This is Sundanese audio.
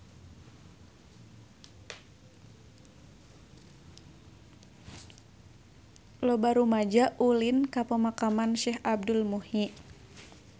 Loba rumaja ulin ka Pemakaman Syekh Abdul Muhyi